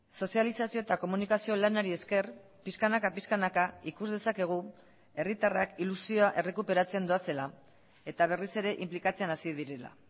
sozializazio eta komunikazio lanari esker pixkanaka pixkanaka ikus dezakegu herritarrak ilusioa errekuperatzen doazela eta berriz ere inplikatzen hasi direla